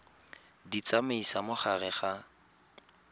di tsamaisa mo gare ga